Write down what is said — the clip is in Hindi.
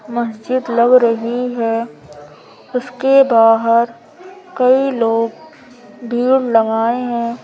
मस्जिद लग रही है उसके बाहर कई लोग भीड़ लगाए हैं।